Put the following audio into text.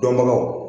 Dɔnbagaw